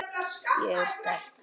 Ég er sterk.